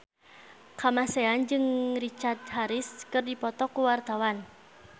Kamasean jeung Richard Harris keur dipoto ku wartawan